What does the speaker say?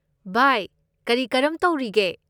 ꯚꯥꯏ ꯀꯔꯤ ꯀꯔꯝ ꯇꯧꯔꯤꯒꯦ?